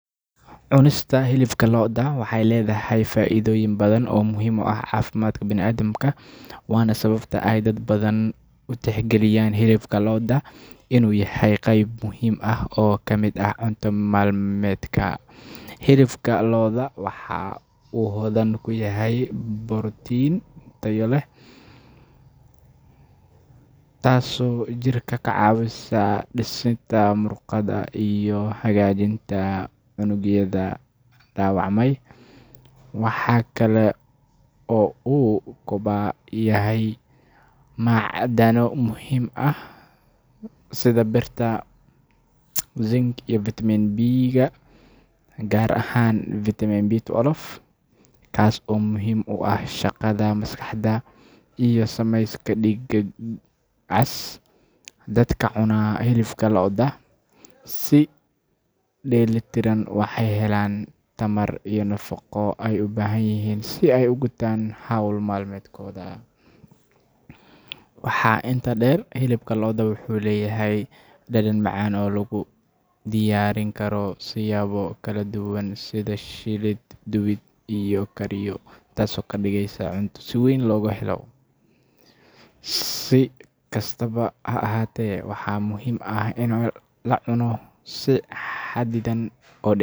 Cunista hilibka lo’da waxay leedahay faa’iidooyin badan oo muhiim u ah caafimaadka bini’aadamka, waana sababta ay dad badan u tixgeliyaan hilibka lo’da inuu yahay qayb muhiim ah oo ka mid ah cunto maalmeedka. Hilibka lo’da waxa uu hodan ku yahay borotiin tayo sare leh, taasoo jirka ka caawisa dhisidda muruqyada iyo hagaajinta unugyada dhaawacmay. Waxa kale oo uu ka kooban yahay macdano muhiim ah sida birta, zinc iyo fitamiin B-ka gaar ahaan vitamin B12, kaas oo muhiim u ah shaqada maskaxda iyo samayska dhiigga cas. Dadka cunaa hilibka lo’da si dheelitiran waxay helaan tamar iyo nafaqo ay u baahan yihiin si ay u gutaan hawl maalmeedkooda. Waxaa intaa dheer, hilibka lo’da wuxuu leeyahay dhadhan macaan oo lagu diyaarin karo siyaabo kala duwan sida shiilid, dubid ama kariyo, taasoo ka dhigaysa cunto si weyn looga helo. Si kastaba ha ahaatee, waxaa muhiim ah in la cuno si xadidan.